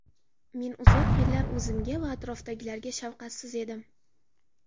Men uzoq yillar o‘zimga va atrofdagilarda shafqatsiz edim.